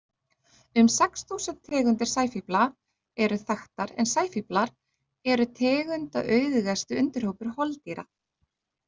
Um sex þúsund tegundir sæfífla eru þekktar, en sæfíflar eru tegundaauðugasti undirhópur holdýra.